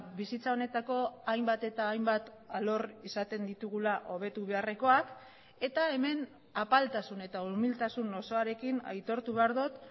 bizitza honetako hainbat eta hainbat alor izaten ditugula hobetu beharrekoak eta hemen apaltasun eta umiltasun osoarekin aitortu behar dut